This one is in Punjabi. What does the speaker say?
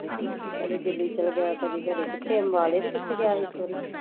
ਕਦੇ ਦਿੱਲੀ ਚੱਲਗਿਆ ਕਦੀ ਘਰੀ ਕਿੱਥੇ ਅਂਬਲੇ ਤੇ ਕਿੱਥੇ ਗਿਆ ਸੀ ਇੱਕ ਵਾਰੀ